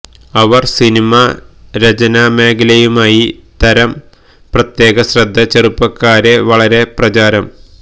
അവർ cinema രചനാമേഖലയുമായി തരും പ്രത്യേക ശ്രദ്ധ ചെറുപ്പക്കാരെ വളരെ പ്രചാരം